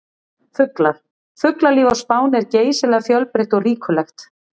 Fuglar: Fuglalíf á Spáni er geysilega fjölbreytt og ríkulegt.